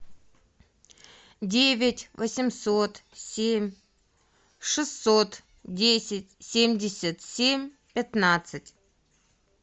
девять восемьсот семь шестьсот десять семьдесят семь пятнадцать